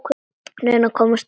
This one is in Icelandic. Reyna að komast upp.